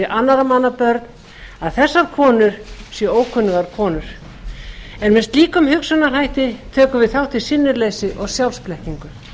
annarra manna börn að þessar konur séu ókunnugar konur með slíkum hugsunarhætti tökum við þátt í sinnuleysi og sjálfsblekkingu